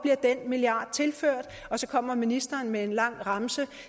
den milliard tilført og så kommer ministeren med en lang remse